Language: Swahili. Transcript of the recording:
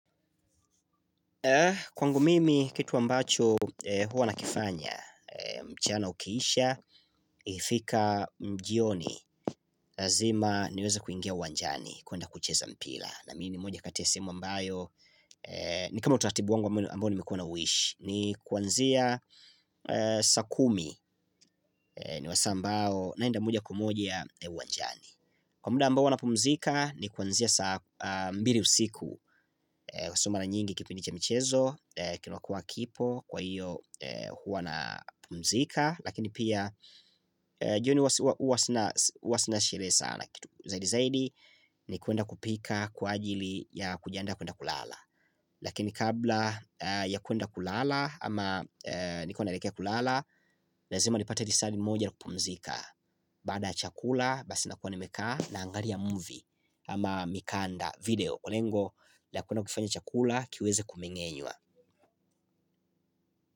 Kwangu mimi kitu ambacho huwa nakifanya, mchana ukiisha, ifika jioni, lazima niweze kuingia uwanjani kuenda kucheza mpila. Na mi ni moja kati ya sehemu ambayo, ni kama utaratibu wangu ambayo nimekuwa nauishi, ni kuanzia saa kumi ni masaa ambao naenda moja kwa moja uwanjani. Kwa muda ambao huwa napumzika ni kuanzia saa mbili usiku Kwaiyo sio mara nyingi kipindi cha michezo kinakua kipo kwaiyo huwa napumzika Lakini pia jioni huwa sina sheree sana kitu Zaidi zaidi ni kuenda kupika kwa ajili ya kujiandaa kuenda kulala Lakini kabla ya kuenda kulala ama niko naelekea kulala Lazima nipate lisali moja kupumzika Baada ya chakula basi nakuwa nimekaa naangalia movie ama mikanda video lengo la kuenda kufanya chakula kiweze kumeng'enywa.